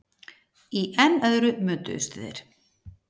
Í enn öðru mötuðust þeir.